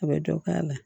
A bɛ dɔ k'a la